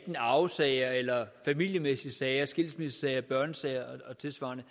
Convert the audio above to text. i arvesager eller i familiemæssige sager som skilsmissesager børnesager og tilsvarende